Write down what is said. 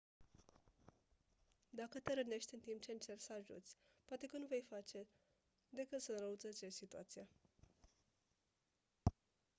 dacă te rănești în timp ce încerci să ajuți poate că nu vei face decât să înrăutățești situația